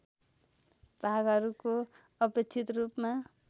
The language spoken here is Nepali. भागहरूको अपेक्षित रूपमा